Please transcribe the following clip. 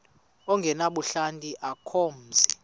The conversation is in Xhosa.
ongenabuhlanti akukho mzi